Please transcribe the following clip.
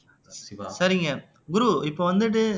சரிங்க குரு இப்ப வந்துட்டு